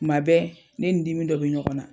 Kuma bɛ ne ni dimi dɔ bɛ ɲɔgɔn na.